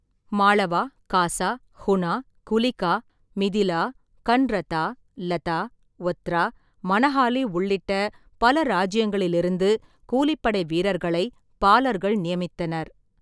மாளவா, காசா, ஹுனா, குலிகா, மிதிலா, கன்ரதா, லதா, ஒத்ரா, மனஹாலி உள்ளிட்ட பல ராஜ்ஜியங்களிலிருந்து கூலிப்படை வீரர்களை பாலர்கள் நியமித்தனர்.